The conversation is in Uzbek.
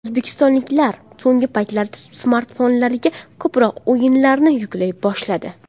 O‘zbekistonliklar so‘nggi paytlarda smartfonlariga ko‘proq o‘yinlarni yuklay boshladi.